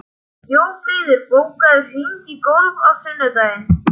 Jófríður, bókaðu hring í golf á sunnudaginn.